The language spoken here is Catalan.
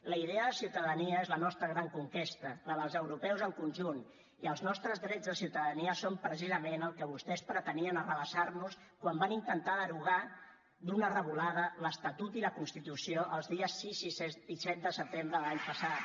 la idea de ciutadania és la nostra gran conquesta la dels europeus en conjunt i els nostres drets de ciutadania són precisament el que vostès pretenien arrabassar nos quan van intentar derogar d’una revolada l’estatut i la constitució els dies sis i set de setembre de l’any passat